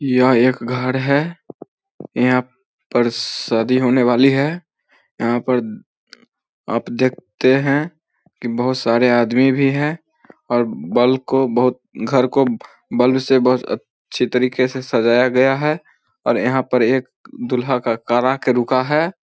यह एक घर है यहां पर पर शादी होने वाली है यहां पर आप देखते है की बहुत सारे आदमी भी है और बल्ब को बहुत घर को बल्ब से बहोत अच्छी तरिके से सजाया गया है और यहां पे एक दुल्हा का कार आके रुका है ।